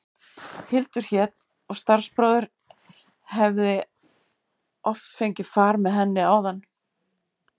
Hildur hét og starfsbróðir hefði oft fengið far með henni þaðan.